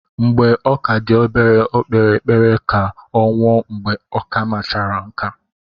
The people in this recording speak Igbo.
Mgbe ọ ka dị obere, Ọ kpere ekpere ka ọ nwụọ mgbe okamachara nkà.